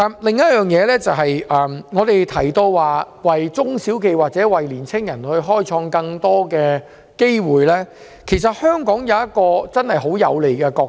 另外，我們提到為中小企或青年人創造更多機會，其實香港有一個很有利的角色。